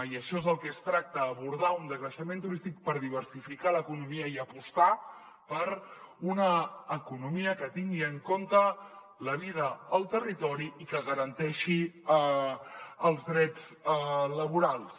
i d’això és del que es tracta d’abordar un decreixement turístic per diversificar l’economia i apostar per una economia que tingui en compte la vida al territori i que garanteixi els drets laborals